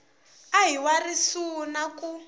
a hi wa risuna ku